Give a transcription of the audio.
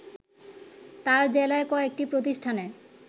তার জেলায় কয়েকটি প্রতিষ্ঠানে